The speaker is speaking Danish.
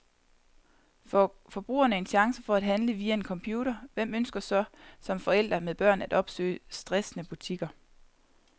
Får forbrugerne en chance for at handle via en computer, hvem ønsker så som forældre med børn at opsøge stressende butikker.